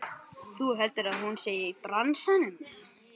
Þú heldur að hún sé í bransanum!